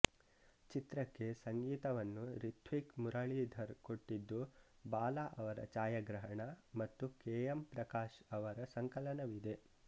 ಚಿತ್ರಕ್ಕೆ ಸಂಗೀತವನ್ನು ರಿಥ್ವಿಕ್ ಮುರಳೀಧರ್ ಕೊಟ್ಟಿದ್ದು ಬಾಲ ಅವರ ಛಾಯಾಗ್ರಹಣ ಮತ್ತು ಕೆ ಎಂ ಪ್ರಕಾಶ್ ಅವರ ಸಂಕಲನವಿದೆ